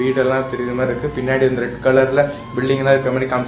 வீடெல்லா தெரிர மாருக்கு பின்னாடி வந்து ரெட் கலர்ல பில்டிங்கெல்லா இருக்கற மாரி காமிச்சி.